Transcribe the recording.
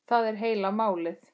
Það er heila málið.